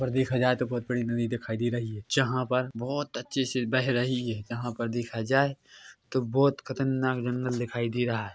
और देखा जाए तो बहुत बड़ी नदी दिखाई दे रही है जहाँ पर बहुत अच्छी से बह रही है यहाँ पर देखा जाए तो बहुत खतरनाक जंगल दिखाई दे रहा है।